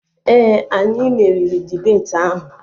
Ee, anyị meriri dibeti ahụ